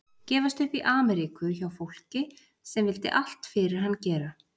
Gefast upp í Ameríku hjá fólki sem vildi allt fyrir hann gera.